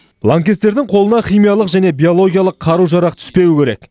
лаңкестердің қолына химиялық және биологиялық қару жарақ түспеуі керек